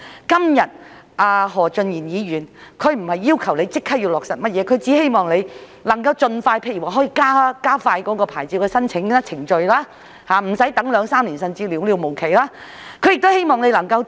今天何俊賢議員不是要求政府立即落實甚麼措施，只希望能夠加快審批農戶興建農用構築物的申請，無須他們等待兩三年，甚至無了期地等待。